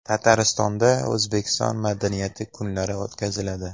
Tataristonda O‘zbekiston madaniyati kunlari o‘tkaziladi.